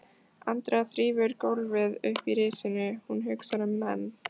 Andrea þrífur gólfið uppi í risinu, hún hugsar um menn